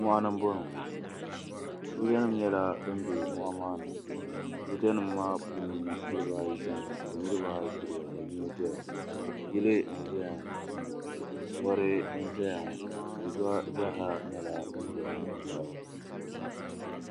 mɔɣini m-bɔŋɔ ŋɔ sooja nima nyɛla ban be mɔɣi maa ni sooja nima maa puuni niriba ayi zami ka niriba ayi kuriya ka yino doya yili n-zaya ŋɔ mɔri n-zaya ŋɔ tihi gba zaa ha nyɛla din be ni m-pahi.